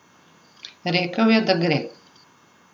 Rekel je, da gre.